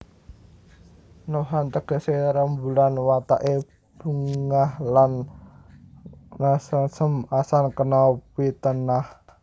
Nohan tegesé rembulan wateké bungah lan sengsem asan kena pitenah